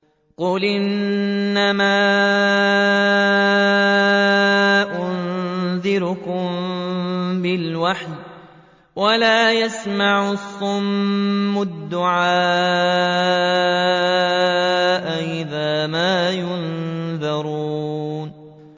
قُلْ إِنَّمَا أُنذِرُكُم بِالْوَحْيِ ۚ وَلَا يَسْمَعُ الصُّمُّ الدُّعَاءَ إِذَا مَا يُنذَرُونَ